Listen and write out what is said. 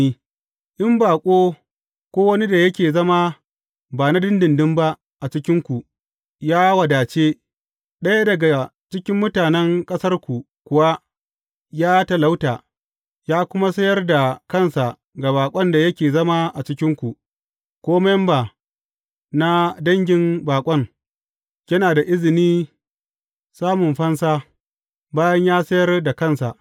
In baƙo, ko wani da yake zama ba na ɗinɗinɗin ba a cikinku, ya wadace, ɗaya daga cikin mutanen ƙasarku kuwa ya talauta, ya kuma sayar da kansa ga baƙon da yake zama a cikinku, ko memba na dangin baƙon, yana da izini samun fansa, bayan ya sayar da kansa.